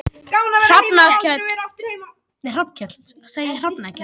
Hrafnkell